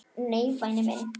Nei, væni minn.